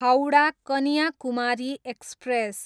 Howrah, Kanyakumari express